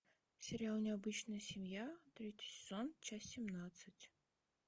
сериал необычная семья третий сезон часть семнадцать